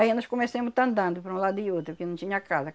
Aí nós comecemos a estar andando para um lado e outro, que não tinha casa.